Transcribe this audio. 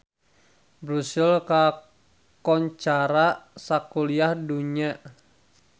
Brussels kakoncara sakuliah dunya